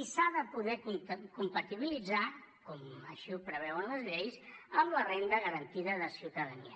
i s’ha de poder compatibilitzar com així ho preveuen les lleis amb la renda garantida de ciutadania